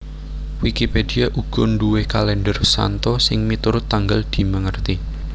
Wikipedia uga nduwé kalèndher santo sing miturut tanggal dimèngeti